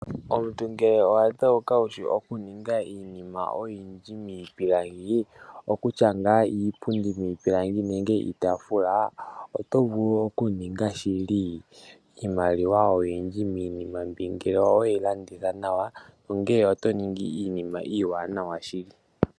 Omuntu ngele owadheuka wushi okuninga iinima oyindji niipilangi, okokutya ngaa iipundi niitaafula otovulu okuninga shili iimaliwa oyindji miinima mbi ngele oweyilanditha nawa, onge otoningi iinima iiwanawa shili.